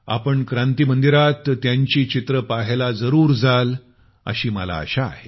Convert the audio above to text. आपण क्रांती मंदिरात त्यांचं पेंटिंग पाहायला जरूर जाल अशी मला आशा आहे